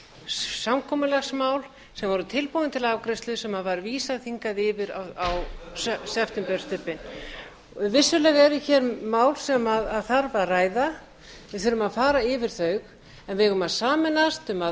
samkomulagsmál sem voru tilbúin til afgreiðslu sem var vísað hingað yfir á septemberstubbinn vissulega eru hér mál sem þarf að ræða við þurfum að fara yfir þau en við eigum að sameinast um að